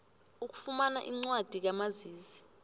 ukufumana incwadi kamazisi